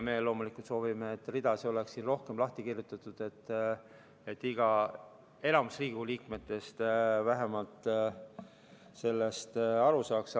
Meie loomulikult soovime, et read oleks rohkem lahti kirjutatud, et vähemalt enamik Riigikogu liikmetest sellest aru saaks.